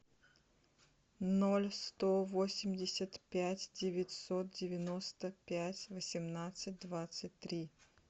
ноль сто восемьдесят пять девятьсот девяносто пять восемнадцать двадцать три